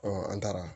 an taara